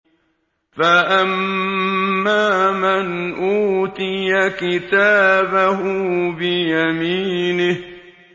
فَأَمَّا مَنْ أُوتِيَ كِتَابَهُ بِيَمِينِهِ